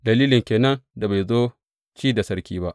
Dalilin ke nan da bai zo ci da sarki ba.